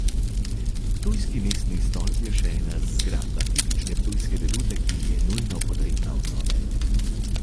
Ptujski mestni stolp je še ena zgradba tipične ptujske vedute, ki je nujno potrebna obnove.